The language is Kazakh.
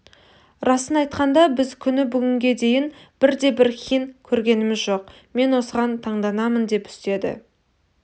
расын айтқанда біз күні бүгінге дейін бірде-бір хин көргеніміз жоқ мен осыған таңданамын деп үстеді